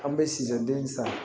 An bɛ sija den san